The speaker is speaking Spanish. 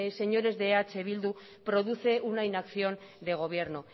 señores de eh bildu produce una inacción de gobierno